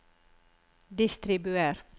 distribuer